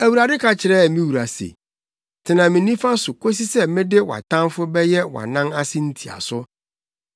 Awurade ka kyerɛɛ me Wura se, “Tena me nifa so kosi sɛ mede wʼatamfo bɛyɛ wʼanan ase ntiaso.”